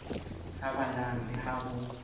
sa balang le ha ho